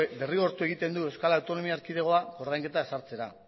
derrigortu egiten du euskal autonomia erkidegoa ordainketa ezartzera